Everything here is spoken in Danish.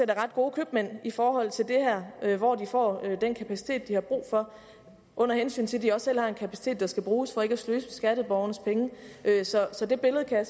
er ret gode købmænd i forhold til det her hvor de får den kapacitet de har brug for under hensyn til at de også selv har en kapacitet der skal bruges for ikke at sløse med skatteborgernes penge så så det billede